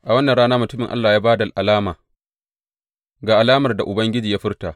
A wannan rana mutumin Allah ya ba da alama, Ga alamar da Ubangiji ya furta.